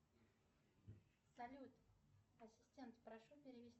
салют ассистент прошу перевести